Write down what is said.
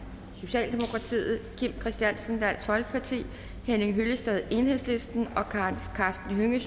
kim christiansen henning hyllested og karsten hønge